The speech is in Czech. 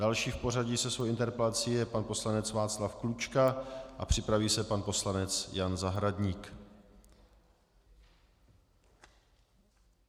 Další v pořadí se svou interpelací je pan poslanec Václav Klučka a připraví se pan poslanec Jan Zahradník.